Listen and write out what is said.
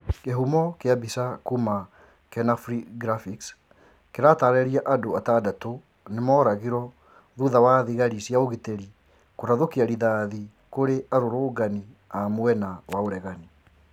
Kĩhumo kĩa mbica kuma kenafri graphics kĩratarĩria Andũ atandatũ nĩ mooragirwo thutha wa thigari cia ũgitĩri kũrathũkia rithathi kũrĩ arũrũrngani a mwena wa ũregani